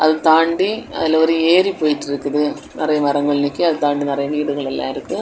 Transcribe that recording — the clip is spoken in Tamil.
அதை தாண்டி அதுல ஒரு ஏரி போயிட்டு இருக்குது நிறைய மரங்கள் நிக்குது அது தாண்டி நிறைய வீடுகள்ளா இருக்கு.